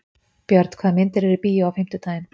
Björn, hvaða myndir eru í bíó á fimmtudaginn?